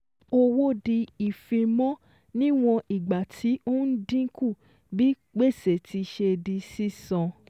Owó di ìfimọ́ níwọ̀n ìgbà tí ó ń dínkù bí gbèsè tí ṣe di sísan